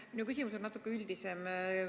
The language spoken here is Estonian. Minu küsimus on natuke üldisem.